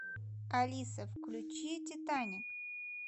алиса включи титаник